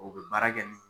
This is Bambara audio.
O bɛ baara kɛ ni